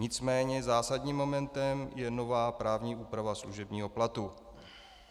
Nicméně zásadním momentem je nová právní úprava služebního platu.